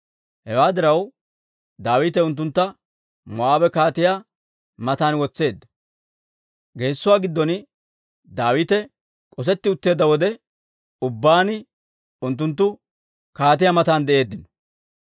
Hewaa diraw, Daawite unttuntta Moo'aabe kaatiyaa matan wotseedda; geesuwaa giddon Daawite k'osetti utteedda wode ubbaan unttunttu kaatiyaa matan de'eeddino.